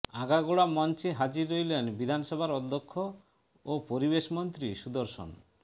আগাগোড়া মঞ্চে হাজির রইলেন বিধানসভার অধ্যক্ষ ও পরিবেশ মন্ত্রী সুদর্শন